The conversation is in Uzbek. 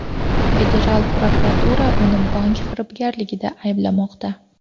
Federal prokuratura uni bank firibgarligida ayblamoqda.